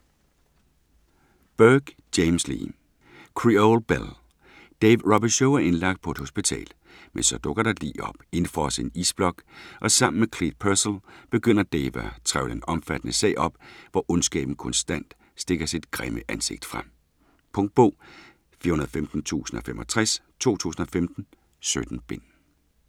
Burke, James Lee: Creole belle Dave Robicheaux er indlagt på et hospital. Men så dukker der et lig op, indfrosset i en isblok, og sammen med Clete Purcel begynder Dave at trevle en omfattende sag op, hvor ondskaben konstant stikker sit grimme ansigt frem. Punktbog 415065 2015. 17 bind.